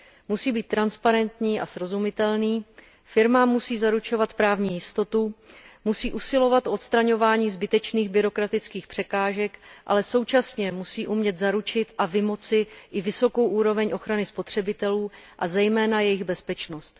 Musí být transparentní a srozumitelný, firmám musí zaručovat právní jistotu, musí usilovat o odstraňování zbytečných byrokratických překážek, ale současně musí umět zaručit a vymoci i vysokou úroveň ochrany spotřebitelů, a zejména jejich bezpečnost.